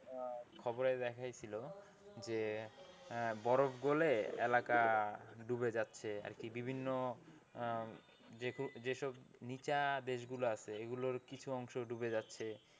খবরে দেখাই ছিল যে আহ বরফ গলে এলাকা ডুবে যাচ্ছে আর কি বিভিন্ন যে~যেসব নিচা দেশগুলো আছে এগুলোর কিছু অংশ ডুবে যাচ্ছে।